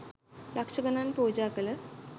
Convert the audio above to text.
ලක්ෂ ගණන් පුජ කළ